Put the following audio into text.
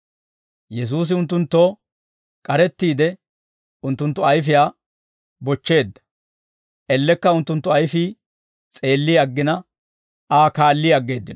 Yesuusi unttunttoo k'arettiide, unttunttu ayfiyaa bochcheedda; ellekka unttunttu ayfii s'eelli aggina, Aa kaalli aggeeddino.